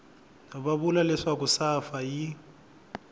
va vula leswaku safa yi